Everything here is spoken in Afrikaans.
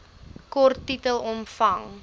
kort titel omvang